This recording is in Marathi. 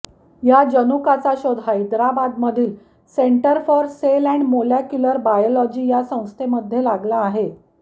या जनुकाचा शोध हैदराबादमधील centre for cell and molecular biology या संस्थेमध्ये लागला आहे